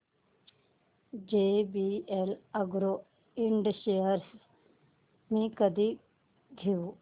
JVL Agro Ind shares मी कधी घेऊ